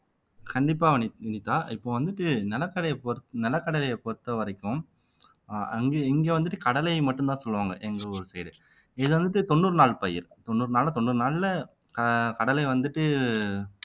கண்டிப்பா வனி வினிதா இப்ப வந்துட்டு நிலக்கடலையை பொறுத் நிலக்கடலையை பொறுத்தவரைக்கும் அஹ் அங்க இங்க வந்துட்டு கடலை மட்டும்தான் சொல்லுவாங்க எங்க ஊரு side இது வந்துட்டு தொண்ணூறு நாள் பயிர் தொண்ணூறு நாள்ல தொண்ணூறு நாள்ல அஹ் கடலை வந்துட்டு